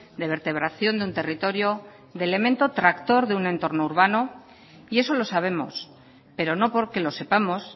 de vertebración de un territorio de elemento tractor de un entorno urbano y eso lo sabemos pero no porque lo sepamos